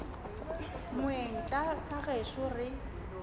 moeng tla ka gešo re